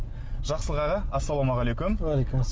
жақсылық аға ассалаумағалейкум